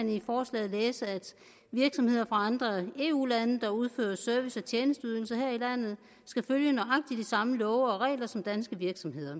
man i forslaget læse at virksomheder fra andre eu lande der udfører service og tjenesteydelser her i landet skal følge nøjagtig de samme love og regler som danske virksomheder